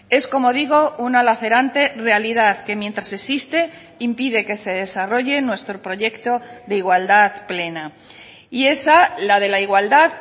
es como digo una lacerante realidad que mientras existe impide que se desarrolle nuestro proyecto de igualdad plena y esa la de la igualdad